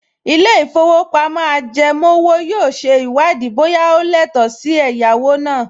Ilé-ìfowópamọ́ ajẹmówò yóò ṣe ìwádìí bóyá o lẹ́tọ̀ọ́ sí ẹ̀yáwó náà